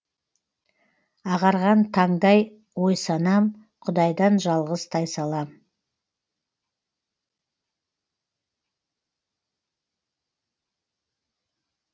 ағарған таңдай ой санам құдайдан жалғыз тайсалам